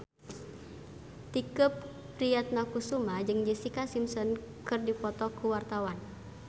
Tike Priatnakusuma jeung Jessica Simpson keur dipoto ku wartawan